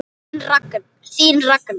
Þín Ragna.